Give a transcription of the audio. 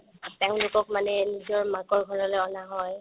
তেওঁলোকক মানে নিজৰ মাকৰ ঘৰলৈ অনা হয়